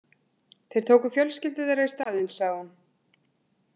Þeir tóku fjölskyldur þeirra í staðinn, sagði hún.